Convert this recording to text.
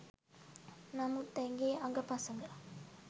නමුත් ඇගේ අඟ පසඟ